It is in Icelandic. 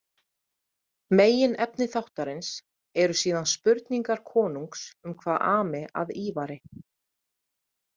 Meginefni þáttarins eru síðan spurningar konungs um hvað ami að Ívari.